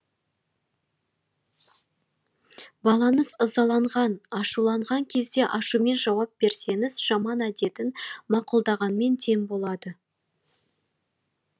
балаңыз ызаланған ашуланған кезде ашумен жауап берсеңіз жаман әдетін мақұлдағанмен тең болады